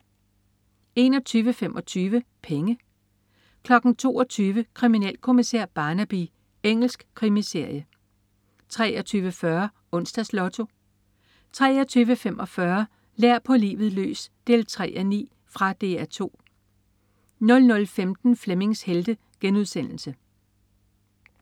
21.25 Penge 22.00 Kriminalkommissær Barnaby. Engelsk krimiserie 23.40 Onsdags Lotto 23.45 Lær på livet løs 3:9. Fra DR 2 00.15 Flemmings Helte*